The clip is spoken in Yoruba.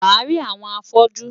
Wàá rí àwọn afọ́jú.